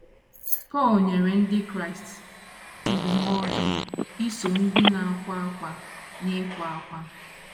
Pọl nyere ndị Kraịst ndụmọdụ ‘ iso ndị na - akwa ákwá n’ịkwa ákwá. ’